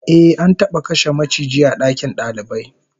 Ehh, an taba kashe maciji a dakin dalibai